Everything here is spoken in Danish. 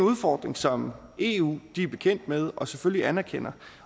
udfordring som eu er bekendt med og selvfølgelig anerkender